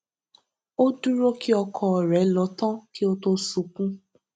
ó dúró kí ọkọ rẹ lọ tán kí ó tó sunkún